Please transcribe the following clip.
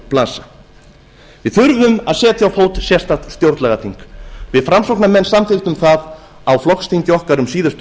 blasa við þurfum að setja á fót sérstakt stjórnlagaþing við framsóknarmenn samþykktum það á flokksþingi okkar um síðustu